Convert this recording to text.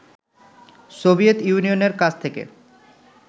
Soviet ইউনিয়নের কাছ থেকে